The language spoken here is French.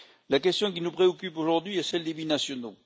La question qui nous préoccupe aujourd'hui est celle des binationaux.